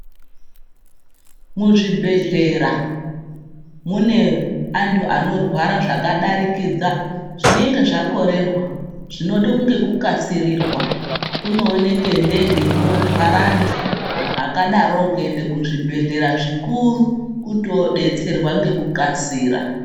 Muzvibhehlera muna antu anorwara zvakadarikidza zvinenge zvakorerwa zvinode nekukasirirwa. Kunooneke ndege inotwara antu akadorowo kuenda kuzvibhehlera zvikuru kuti oodetserwa ngekukasira.